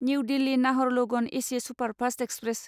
new Delhi Naharlagun AC superfast express